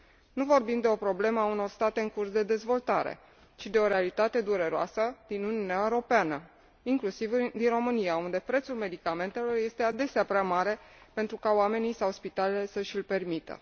Nu vorbim de o problemă a unor state în curs de dezvoltare, ci de o realitate dureroasă din Uniunea Europeană, inclusiv din România, unde prețul medicamentelor este adesea prea mare pentru ca oamenii sau spitalele să și l permită.